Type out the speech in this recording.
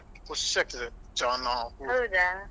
ಹೌದಾ.